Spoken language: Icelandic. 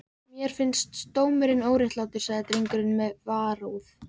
Mér finnst dómurinn óréttlátur, sagði drengurinn með varúð.